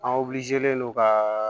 An don ka